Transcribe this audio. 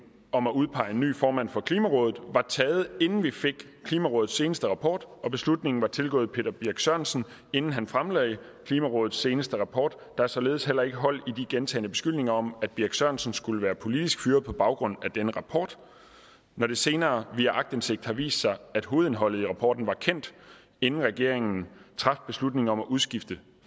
om at udpege en ny formand for klimarådet var taget inden vi fik klimarådets seneste rapport og beslutningen var tilgået peter birch sørensen inden han fremlagde klimarådets seneste rapport der er således heller ikke hold i de gentagne beskyldninger om at birch sørensen skulle være politisk fyret på baggrund af denne rapport når det senere via aktindsigt har vist sig at hovedindholdet af rapporten var kendt inden regeringen traf beslutning om at udskifte